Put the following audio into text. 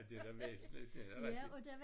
Det da væsentligt det da rigtigt